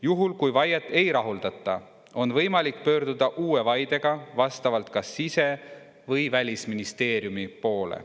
Juhul, kui vaiet ei rahuldata, on võimalik pöörduda uue vaidega vastavalt kas sise‑ või välisministeeriumi poole.